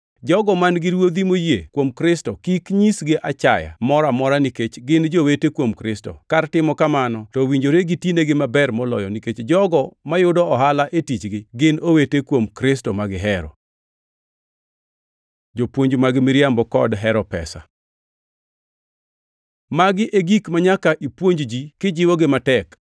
Jogo man-gi ruodhi moyie kuom Kristo kik nyisgi achaya moro amora nikech gin jowete kuom Kristo. Kar timo kamano to owinjore gitinegi maber moloyo, nikech jogo mayudo ohala e tichgi gin owete kuom Kristo ma gihero. Jopuonj mag miriambo kod hero pesa Magi e gik manyaka ipuonj ji kijiwogi matek.